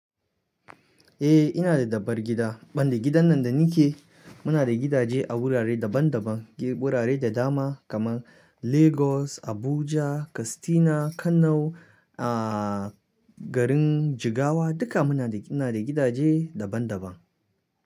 Eh ina da dabar gida, ban da gidan nan da ni ke muna da gidaje a wurare daban-daban, wurare da dama kamar Lagos, Abuja, Kastina, Kano, ah garin Jigawa duka muna da, ina da gidaje daban-daban.